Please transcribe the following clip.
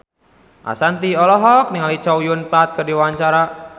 Ashanti olohok ningali Chow Yun Fat keur diwawancara